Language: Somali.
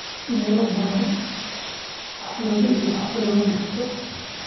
Meelo badan, xaflado iyo xaflado bulsho.